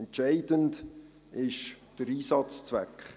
Entscheidend ist der Einsatzzweck.